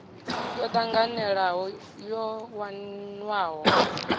yo tanganelaho yo wanwaho u